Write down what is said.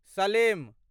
Salem